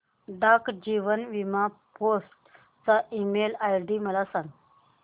डाक जीवन बीमा फोर्ट चा ईमेल आयडी मला सांग